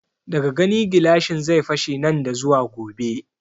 Daga gani gilashin zai fashe nan da zuwa gobe